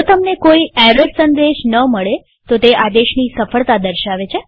જો તમને કોઈ એરર સંદેશ ન મળે તો તે આદેશની સફળતા દર્શાવે છે